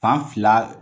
Fan fila